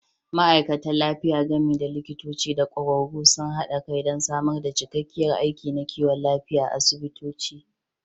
Ma'aikatan lafiya, gami da likitoci da ƙwararru, sun haɗa kai don samar da cikakkiyar aiki na kiwon lafiya a asibitoci.